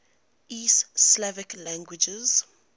east slavic languages